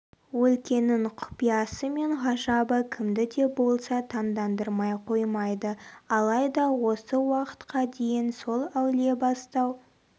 өлкенің құпиясы мен ғажабы кімді де болса таңдандырмай қоймайды алайда осы уақытқа дейін сол әулиебастау